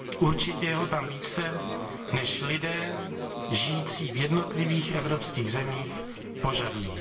Určitě je ho tam více, než lidé žijící v jednotlivých evropských zemích požadují.